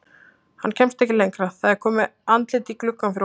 Hann kemst ekki lengra, það er komið andlit í gluggann fyrir ofan.